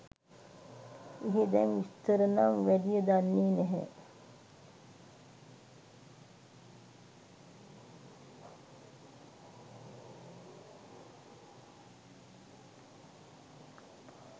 එහෙ දැන් විස්තර නම් වැඩිය දන්නේ නැහැ